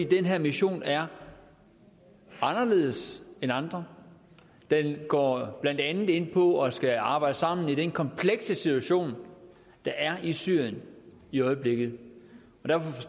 den her mission er anderledes end andre den går blandt andet ind på at man skal arbejde sammen i den komplekse situation der er i syrien i øjeblikket